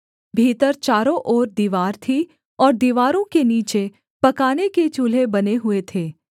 भीतर चारों ओर दीवार थी और दीवारों के नीचे पकाने के चूल्हे बने हुए थे